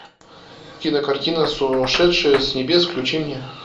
кинокартина сошедшие с небес включи мне